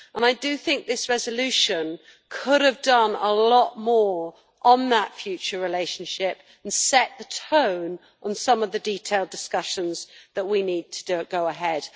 I do think this resolution could have done a lot more on that future relationship and set the tone on some of the detailed discussions that we need to go ahead.